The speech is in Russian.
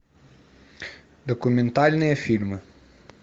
документальные фильмы